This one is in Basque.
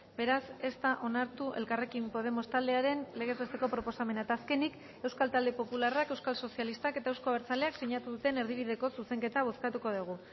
beraz ez da onartu elkarrekin podemos taldearen legez besteko proposamena eta azkenik euskal talde popularrak euskal sozialistak eta eusko abertzaleak sinatu duten erdibideko zuzenketa bozkatuko dugu